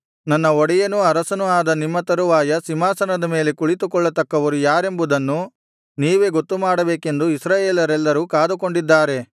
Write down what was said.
ನನ್ನ ಒಡೆಯನೂ ಅರಸನೂ ಆದ ನಿಮ್ಮ ತರುವಾಯ ಸಿಂಹಾಸನದ ಮೇಲೆ ಕುಳಿತುಕೊಳ್ಳತಕ್ಕವರು ಯಾರೆಂಬುದನ್ನು ನೀವೇ ಗೊತ್ತುಮಾಡಬೇಕೆಂದು ಇಸ್ರಾಯೇಲರೆಲ್ಲರೂ ಕಾದುಕೊಂಡಿದ್ದಾರೆ